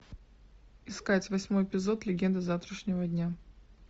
искать восьмой эпизод легенды завтрашнего дня